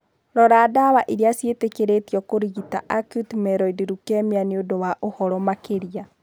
Rora 'ndawa iria ciĩtĩkĩrĩtio kũrigita acute myeloid leukemia' nĩ ũndũ wa ũhoro makĩria.